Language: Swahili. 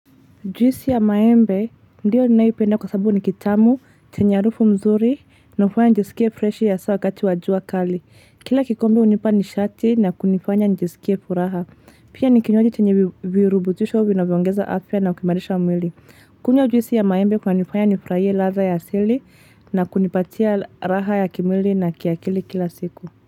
Juisi ya maembe, ndiyo ninaipenda kwa sababu nikitamu, chenye harufu mzuri, na hufanya nijisikie freshi haswa wakati wajua kali. Kila kikombe hunipa nishati na kunifanya njisikie furaha. Pia nikinywaji chenye virubutisho vina vyoongeza afya na kuimarisha mwili. Kunywa juisi ya maembe kuna nifanya nifurahie ldtha ya asili na kunipatia raha ya kimwili na kiakili kila siku.